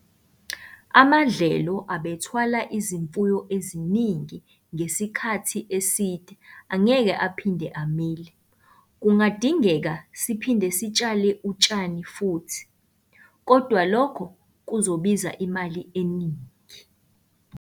Amadlelo abethwala izimfuyo eziningi ngesikhathi eside angeke aphinde amile, kungadingeka siphinde sitshale utshani futhi, kodwa lokho kuzobiza imali eningi.